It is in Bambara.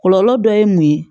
Kɔlɔlɔ dɔ ye mun ye